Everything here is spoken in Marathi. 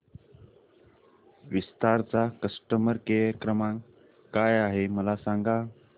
विस्तार चा कस्टमर केअर क्रमांक काय आहे मला सांगा